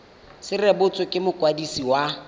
se rebotswe ke mokwadisi wa